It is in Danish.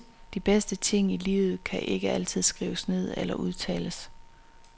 De bedste ting i livet kan ikke altid skrives ned eller udtales.